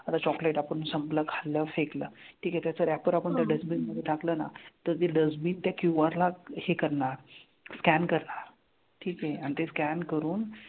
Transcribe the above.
आता chocolate आपण संपलं खाल्लं फेकलं, ठीक आहे? त्याचं wrapper आपण त्या dustbin मधे टाकलं ना तर ती dustbin त्या QR ला हे करणार, scan करणार. ठीक हे? आणि ते scan करून,